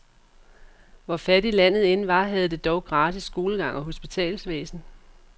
Hvor fattigt landet end var, havde det dog gratis skolegang og hospitalsvæsen.